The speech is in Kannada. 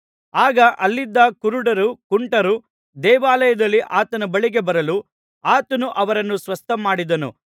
ಆಗ ಅಲ್ಲಿದ್ದ ಕುರುಡರೂ ಕುಂಟರೂ ದೇವಾಲಯದಲ್ಲಿ ಆತನ ಬಳಿಗೆ ಬರಲು ಆತನು ಅವರನ್ನು ಸ್ವಸ್ಥಮಾಡಿದನು